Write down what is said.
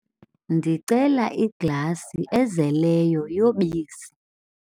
ndicela iglasi ezeleyo yobisi